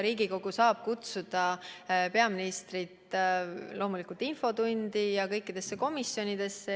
Riigikogu saab kutsuda peaministrit loomulikult infotundi ja kõikidesse komisjonidesse.